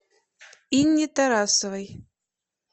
инне тарасовой